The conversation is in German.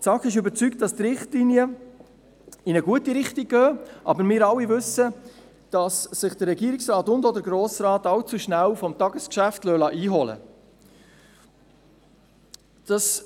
Die SAK ist davon überzeugt, dass die Richtlinien in eine gute Richtung gehen, aber wir alle wissen, dass sich der Regierungsrat und auch der Grosse Rat allzu rasch vom Tagesgeschäft einholen lassen.